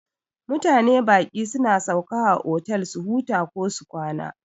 Mutane baƙi suna sauka a otal su huta kosu kwana.